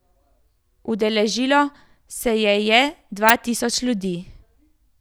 Udeležilo se je je dva tisoč ljudi.